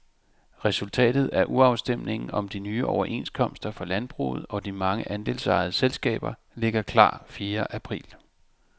Resultatet af urafstemningen om de nye overenskomster for landbruget og de mange andelsejede selskaber ligger klar fjerde april.